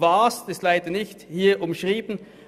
Das ist hier leider nicht umschrieben.